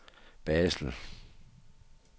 Basel